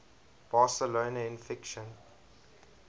barcelona in fiction